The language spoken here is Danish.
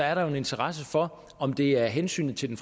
er der en interesse for om det er hensynet til den